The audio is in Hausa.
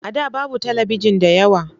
A da babu talabijin da yawa.